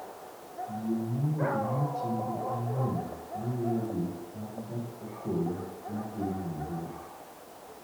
Yie mondo ing'e chenro ang'wen maluwogi mag gach okoloma dhi Nairobi